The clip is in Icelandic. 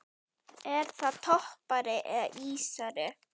Er það toppari eða ísari?